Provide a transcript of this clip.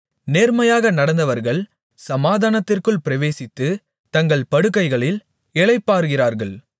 நேர்மையாக நடந்தவர்கள் சமாதானத்திற்குள் பிரவேசித்து தங்கள் படுக்கைகளில் இளைப்பாறுகிறார்கள்